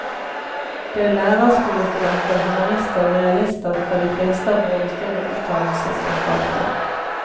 Det er lærerskolestudenter, humanister og realister fra de fleste av våre større utdannelsesanstalter.